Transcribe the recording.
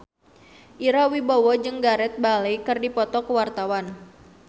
Ira Wibowo jeung Gareth Bale keur dipoto ku wartawan